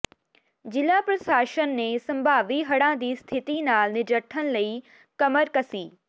ਜ਼ਿਲ੍ਹਾ ਪ੍ਰਸ਼ਾਸਨਨੇ ਸੰਭਾਵੀ ਹੜ੍ਹਾਂ ਦੀ ਸਥਿਤੀ ਨਾਲ ਨਜਿੱਠਣ ਲਈ ਕਮਰਕਸੀ